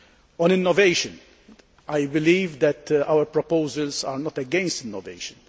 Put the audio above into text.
On innovation, I believe that our proposals are not against innovation.